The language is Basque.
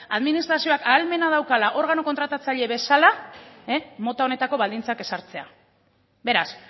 administrazioak ahalmena daukala organo kontratatzailea bezala mota honetako baldintzak ezartzea beraz